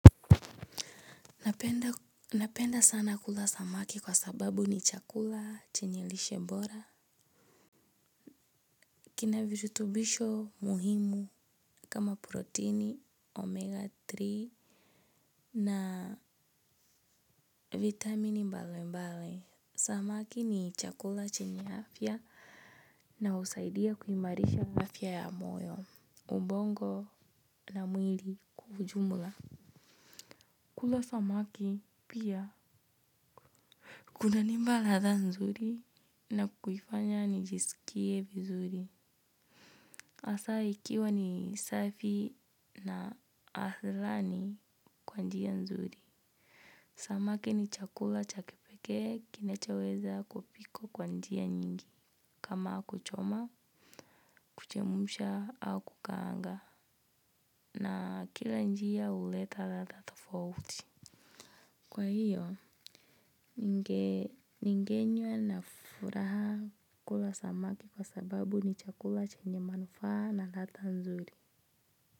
Napenda sana kula samaki kwa sababu ni chakula chenye lishe bora. Kina virutubisho muhimu kama proteini, omega tatu na vitamini mbali mbali. Samaki ni chakula chenye afya na usaidia kuimarisha afya ya moyo, ubongo na mwili kwa ujumula. Kula samaki pia. Kunanipa ladha nzuri na kuifanya nijisikie vizuri. Asa ikiwa ni safi na aslani kwa njia nzuri. Samaki ni chakula cha kipeke kinachoweza kupikwa kwa njia nyingi. Kama kuchoma, kuchemusha au kukanga. Na kila njia uleta latha tofauti. Kwa hiyo, ningenye na furaha kula samaki kwa sababu ni chakula chenye manufaa na lata nzuri.